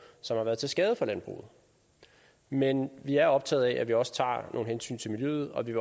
som har været til skade for landbruget men vi er optaget af at vi også tager nogle hensyn til miljøet og vi